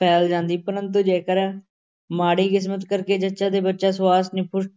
ਫੈਲ ਜਾਂਦੀ ਪਰੰਤੂ ਜੇਕਰ ਮਾੜੀ ਕਿਸਮਤ ਕਰਕੇ ਜੱਚਾ ਤੇ ਬੱਚਾ ਦੇ ਸੁਆਸ ਨਿਖੁੱਟ